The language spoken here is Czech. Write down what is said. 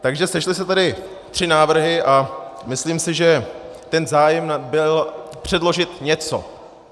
Takže sešly se tady tři návrhy a myslím si, že ten zájem byl předložit něco.